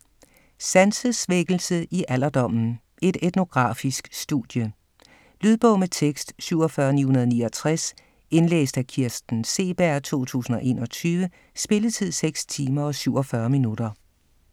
Sansesvækkelse i alderdommen: et etnografisk studie Lydbog med tekst 47969 Indlæst af Kirsten Seeberg, 2021. Spilletid: 6 timer, 47 minutter.